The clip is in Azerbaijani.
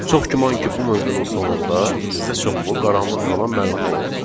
Çox güman ki, bu mövzunun sonunda sizə çoxlu qaranlıq qalan məqamlar olacaq.